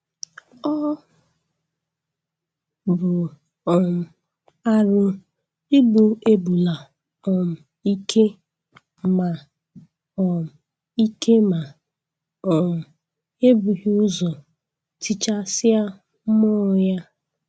Ọ bụ um arụ igbu ebula um ike ma um ike ma um e bughị ụzọ tichasịa mmụọ ya